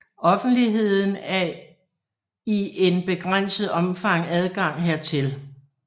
Offentligheden af i en begrænset omfang adgang hertil